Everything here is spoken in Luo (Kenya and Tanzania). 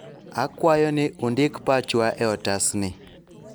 akwayou ni undik pachwa e otasni